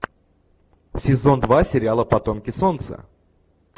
сезон два сериала потомки солнца